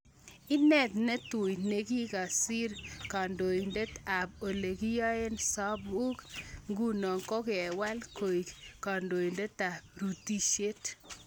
Inat ne tui nikikakesir kandoinatet ab olekiyoito sabuk nguno kokewal koek kandoinatet ab rutisiet.